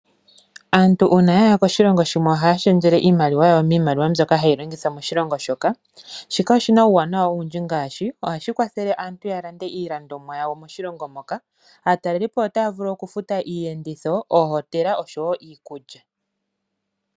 Aantu uuna ya ya koshilongo shimwe ohaya shendjele iimaliwa yawo miimaliwa mbyoka hayi longithwa moshilongo shoka. Shika oshi na uuwanawa owundji ngaashi: ohashi kwathele aantu ya lande iilandomwa yawo moshilongo moka. Aatalelipo otaya vulu okufuta iiyenditho, oohotela osho wo iikulya.